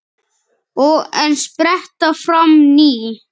Og enn spretta fram ný.